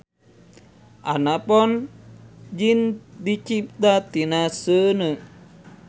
Anapon jin dicipta tina seuneu.